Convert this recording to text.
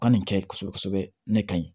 Ka nin kɛ kosɛbɛ kosɛbɛ ne ka ɲi